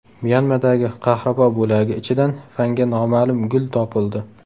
Myanmadagi qahrabo bo‘lagi ichidan fanga noma’lum gul topildi.